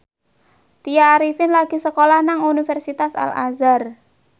Tya Arifin lagi sekolah nang Universitas Al Azhar